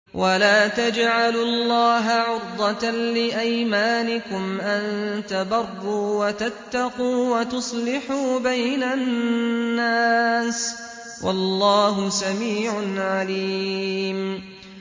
وَلَا تَجْعَلُوا اللَّهَ عُرْضَةً لِّأَيْمَانِكُمْ أَن تَبَرُّوا وَتَتَّقُوا وَتُصْلِحُوا بَيْنَ النَّاسِ ۗ وَاللَّهُ سَمِيعٌ عَلِيمٌ